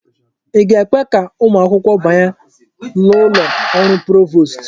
Ị ga-ekwe ka ụmụ akwụkwọ banye n'ụlọ ọrụ provost?